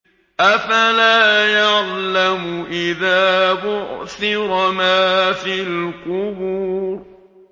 ۞ أَفَلَا يَعْلَمُ إِذَا بُعْثِرَ مَا فِي الْقُبُورِ